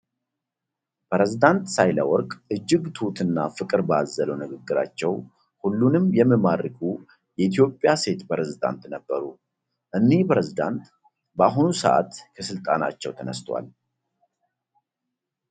ፕሬዚዳንት ሳህለወርቅ እጅግ ትሁት እና ፍቅር ባዘለው ንግግራቸው ሁሉንም የሚማርኩ የኢትዮጵያ የሴት ፕሬዚዳንት ነበሩ። እኒህ ፕሬዚዳንት በአሁኑ ሰአት ከስልጣናቸው ተነስተዋል።